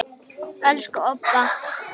Elsku Obba.